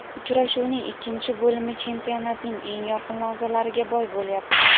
Uchrashuvning ikkinchi bo‘limi chempionatning eng yorqin lahzalariga boy bo‘lyapti.